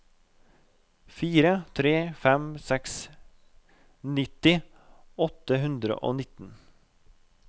fire tre fem seks nitti åtte hundre og nitten